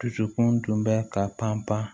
Dusukun tun bɛ ka pan pan